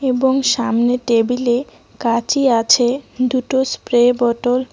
এবং সামনে টেবিলে কাচি আছে দুটো স্প্রে বোটোল --